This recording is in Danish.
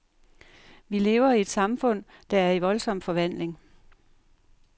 Vi lever i et samfund, der er i voldsom forvandling.